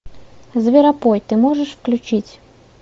зверопой ты можешь включить